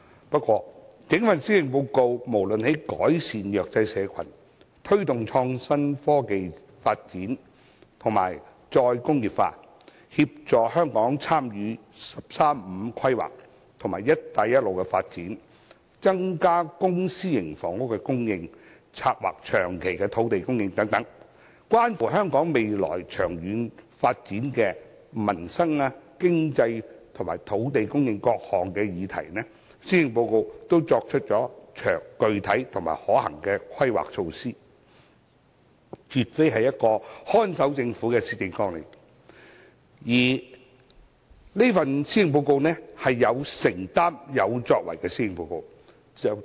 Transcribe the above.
不過，整份施政報告無論是在扶助弱勢社群、推動創新科技發展及再工業化、協助香港參與"十三五"規劃及"一帶一路"的發展、增加公私營房屋供應，以及策劃長期的土地供應等，關乎香港未來長遠發展的各項民生、經濟及土地供應議題，均作出了具體及可行的規劃，絕非一份看守政府的施政綱領，而是一份有承擔和有作為的施政報告。